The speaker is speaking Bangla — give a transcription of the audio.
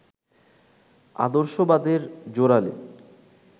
আদর্শবাদের জোরালো